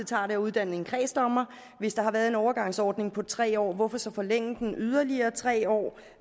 tager at uddanne en kredsdommer hvis der har været en overgangsordning på tre år hvorfor så forlænge den yderligere tre år